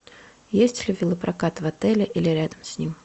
есть ли велопрокат в отеле или рядом с ним